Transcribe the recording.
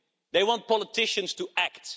They want politicians to act.